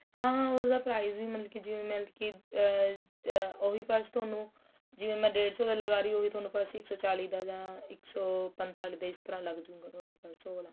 ਹਾਂ ਉਸਦਾ price ਵੀ ਮਤਲਬ ਕੀ ਜਿਵੇਂ ਮਤਲਬ ਕੀ ਆ ਆ ਉਹੀ ਬੱਸ ਤੁਹਾਨੂੰ ਜਿਵੇਂ ਮੈਂ ਡੇਡ ਸੋ ਰੁਪਏ ਲਗਾ ਰਹੀ ਆ ਉਹੀ ਤੁਹਾਨੂੰ purse ਇੱਕ ਸੋ ਚਾਲੀ ਦਾ ਜਾਂ ਇੱਕ ਸੋ ਪੰਤਾਲੀ ਦਾ ਇਸ ਤਰਾਂ ਲੱਗ ਜੂ ਗਾ ਤੁਹਾਨੂੰ purse ਉਹ ਵਾਲਾ